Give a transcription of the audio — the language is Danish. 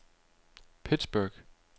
Pittsburgh